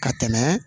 Ka tɛmɛ